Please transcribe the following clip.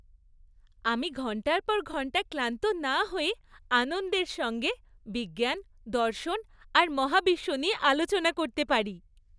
আমি ঘণ্টার পর ঘণ্টা ক্লান্ত না হয়ে আনন্দের সঙ্গে বিজ্ঞান, দর্শন আর মহাবিশ্ব নিয়ে আলোচনা করতে পারি।